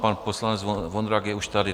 Pan poslanec Vondrák je už tady.